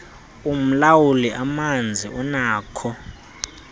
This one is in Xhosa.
umlawuli amanzi unakho